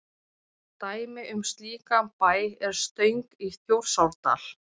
dæmi um slíkan bæ er stöng í þjórsárdal